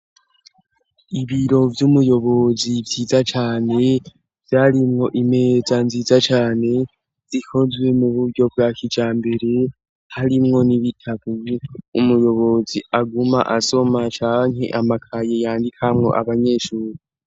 Ibiro vy'umuyobozi vyiza cane vyarimwo imeza nziza cane zikozwe mu buryo bwa kija mbere harimwo n'ibitabu umuyobozi aguma asoma canke amakaye yandikamwo abanyeshuri.